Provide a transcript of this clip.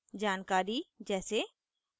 जानकारी जैसे